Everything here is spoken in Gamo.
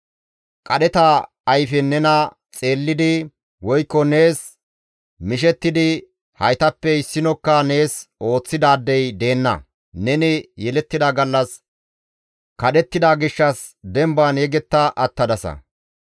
Qadheta ayfen nena xeellidi woykko nees mishettidi haytappe issinokka nees ooththidaadey deenna; neni yelettida gallas kadhettida gishshas demban yegetta attadasa.